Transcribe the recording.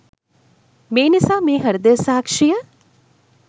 මේ නිසා මේ හෘදය සාක්‍ෂිය